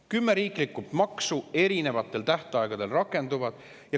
Kümne riikliku maksu erinevatel tähtaegadel rakendub.